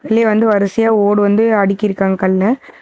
இங்க வந்து வரிசையா ஓடு வந்து அடுக்கி இருக்காங்க கண்ணு.